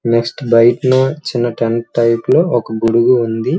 Next bike లో ఒక tent type లో ఒక గొడుగు ఉంది.